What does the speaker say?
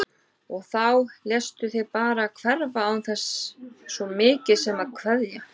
Og þá léstu þig bara hverfa án þess svo mikið sem að kveðja!